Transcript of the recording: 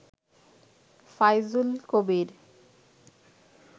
Faizul Kabir